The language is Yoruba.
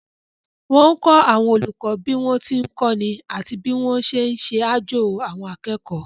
Wọ́n kọ́ àwọn olùkọ́ bí wọ́n ti ń kọ́ni àti bí wọ́n ti ń ṣe àjo àwọn akẹ́kọ̀ọ́